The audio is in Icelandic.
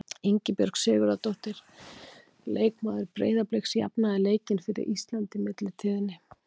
Ingibjörg Sigurðardóttir, leikmaður Breiðabliks, jafnaði leikinn fyrir Ísland í millitíðinni.